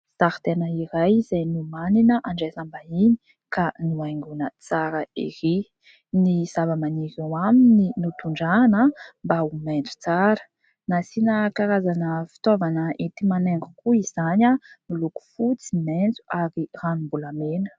Zaridaina iray, izay nomanina handraisam-bahiny, ka nohaingoana tsara erỳ ! Ny zavamaniry eo aminy notondrahana mba ho maitso tsara. Nasiana karazana fitaovana enti-manaingo koa izany, miloko fotsy, maitso, ary ranombolamena.